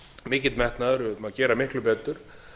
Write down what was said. mikill metnaður um að gera miklu betur